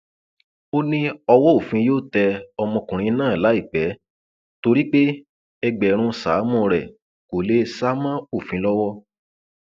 ó ní ọwọ òfin yóò tẹ ọmọkùnrin náà láìpẹ torí pé ẹgbẹrún sáàmù rẹ kó lè sá mọ òfin lọwọ